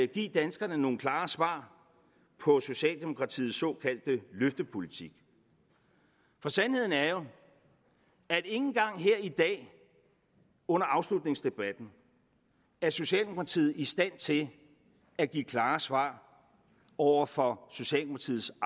give danskerne nogle klare svar på socialdemokratiets såkaldte løftepolitik for sandheden er jo at ikke engang her i dag under afslutningsdebatten er socialdemokratiet i stand til at give klare svar over for socialdemokratiets